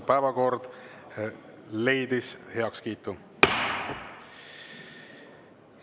Päevakord leidis heakskiitu.